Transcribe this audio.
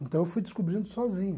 Então eu fui descobrindo sozinho.